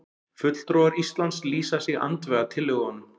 Fulltrúar Íslands lýsa sig andvíga tillögunum